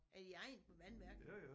Er I ejere på vandværket?